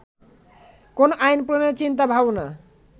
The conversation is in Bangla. কোন আইন প্রণয়নের চিন্তা ভাবনা